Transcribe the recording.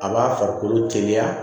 A b'a farikolo teliya